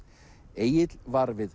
Egill var við